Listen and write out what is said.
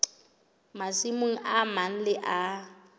masimong a mang le a